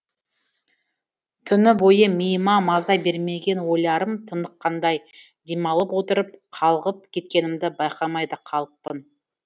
түні бойы миыма маза бермеген ойларым тыныққандай демалып отырып қалғып кеткенімді байқамай да қалыппын